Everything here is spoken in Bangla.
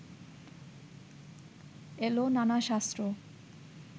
এল নানা শাস্ত্র